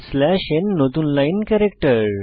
slash n নতুন line character